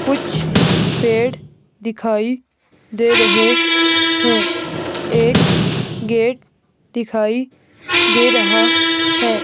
कुछ पेड़ दिखाई दे रहे हैं एक गेट दिखाई दे रहा है।